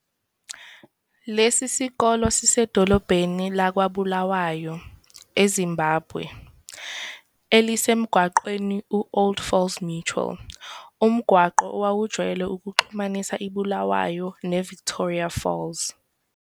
Lesi sikole sisedolobheni lakwaBulawayo, eZimbabwe, elisemgwaqweni u-Old Falls Road, umgwaqo owawujwayele ukuxhumanisa iBulawayo neVictoria Falls.